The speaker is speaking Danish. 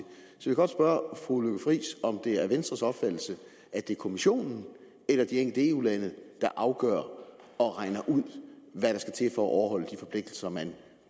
så godt spørge fru lykke friis om det er venstres opfattelse at det er kommissionen eller de enkelte eu lande der afgør og regner ud hvad der skal til for at overholde de forpligtelser man